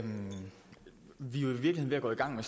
gå i gang